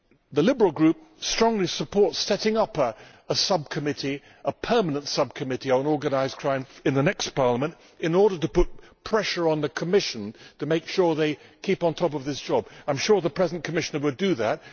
The Liberal Group strongly supports setting up a permanent subcommittee on organised crime in the next Parliament in order to put pressure on the Commission to make sure they keep on top of this job. I am sure the present Commissioner will do that.